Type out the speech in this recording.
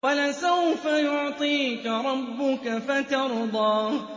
وَلَسَوْفَ يُعْطِيكَ رَبُّكَ فَتَرْضَىٰ